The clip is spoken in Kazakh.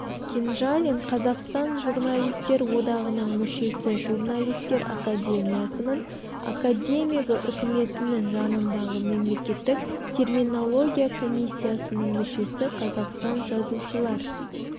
кенжалин қазақстан журналистер одағының мүшесі журналистер академиясының академигі үкіметінің жанындағы мемлекеттік терминология комиссиясының мүшесі қазақстан жазушылар